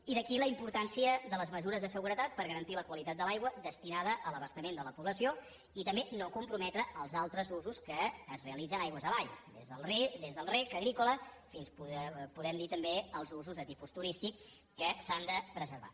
i d’aquí la importància de les mesures de seguretat per garantir la qualitat de l’aigua destinada a l’abastament de la població i també no comprometre els altres usos que es realitzen aigües avall des del reg agrícola fins a podem dir també els usos de tipus turístic que s’han de preservar